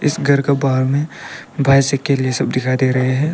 इस घर के बाहर में बाइसाइकिल ये सब दिखाई दे रहे है।